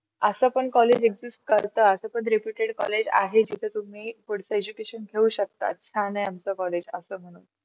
अस पण college exist करता असं पण reputed college आहे, तर तुम्ही पुढचे education घेऊ शकता, छान आहे आमच college अस म्हणून.